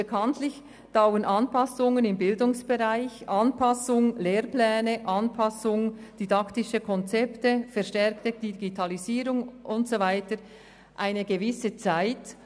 Bekanntlich dauern Anpassungen im Bildungsbereich – also Anpassungen der Lehrpläne und der didaktischen Konzepte, der Einbezug der zunehmenden Digitalisierung und so weiter – eine gewisse Zeit.